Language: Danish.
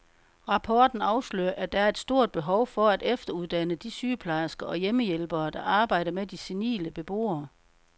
Rapporten afslører, at der er et stort behov for at efteruddanne de sygeplejersker og hjemmehjælpere, der arbejder med de senile beboere.